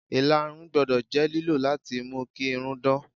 Ìlarun gbọ́dọ̀ jẹ́ lílò láti mú kí irun dán.